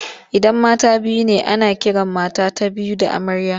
Idan mata biyu ne ana kiran mata ta biyu da amarya.